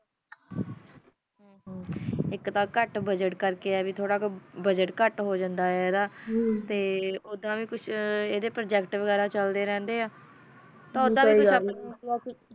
ਏਕ ਤਾ ਕਤ ਬਜ਼ਟ ਕਰ ਕਾ ਆ ਬਜ਼ਟ ਕਤ ਹੋ ਜਾਂਦਾ ਆ ਓਦਾ ਵੀ ਅੰਦਾ ਪ੍ਰੋਜੇਕ੍ਟ ਵਗੈਰਾ ਚਲਦਾ ਰਹੰਦਾ ਆ ਕੋਈ ਗਲ ਨਹੀ